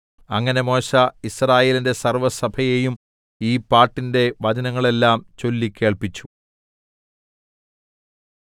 അങ്ങനെ മോശെ യിസ്രായേലിന്റെ സർവ്വസഭയെയും ഈ പാട്ടിന്റെ വചനങ്ങളെല്ലാം ചൊല്ലിക്കേൾപ്പിച്ചു